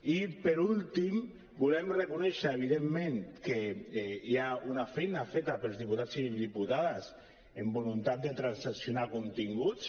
i per últim volem reconèixer evidentment que hi ha una feina feta pels diputats i diputades amb voluntat de transaccionar continguts